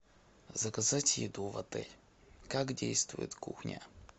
заказать еду в отель как действует кухня